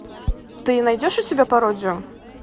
ты найдешь у себя пародию